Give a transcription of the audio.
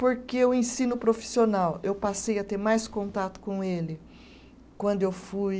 Porque o ensino profissional, eu passei a ter mais contato com ele quando eu fui.